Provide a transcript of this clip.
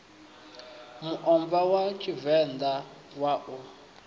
muomva wa tshivenḓa wa u